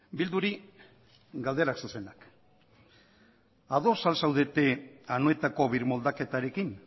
bilduri galdera zuzenak ados al zaudete anoetako birmoldaketarekin